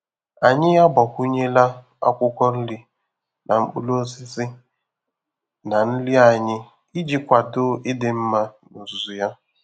Anyị agbakwunyela akwụkwọ nri na mkpụrụ osisi na nri anyị iji kwado ịdị mma n'ozuzu ya.